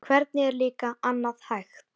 Hvernig er líka annað hægt?